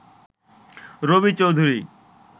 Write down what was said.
Rabi Chowdhury